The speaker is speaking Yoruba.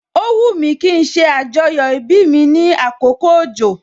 O wumi kí n ṣe ajoyo ibi mi ní àkókò òjò